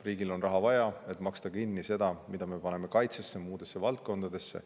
Riigil on raha vaja, et maksta kinni seda, mida me paneme kaitsesse ja muudesse valdkondadesse.